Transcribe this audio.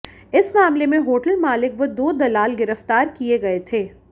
इस मामले में होटल मालिक व दो दलाल गिरफ्तार किए गए थे